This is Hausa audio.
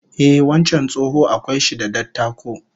Ehh, wancan tsoho akwai shi da dattako